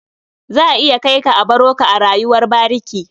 Za a iya kai ka a baro ka a rayuwar bariki.